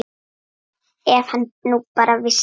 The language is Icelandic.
Ef hann nú bara vissi.